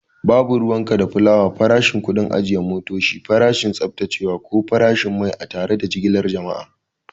Babu ruwanka da kulawa farashin, kuɗin ajiye motoci, farashin tsaftacewa, ko farashin mai a tare da jigilar jama'